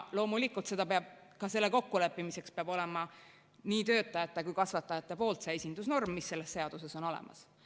Loomulikult, ka selle kokkuleppimiseks peab olema nii töötajate kui ka kasvatajate poolt see esindusnorm, mis selles seaduses on olemas.